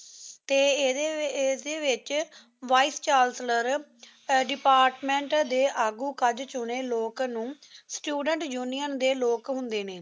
T ਏਹਦੀ ਵਿਚ vice chancellor department ਡੀ ਆਗੂ ਕਾਠ ਚੁਣੀ ਲੋਗ ਨੂ ਸਟੂਡੇੰਟ ਉਨਿਓਂ ਡੀ ਲੋਕ ਹੁੰਦੀ ਨੀ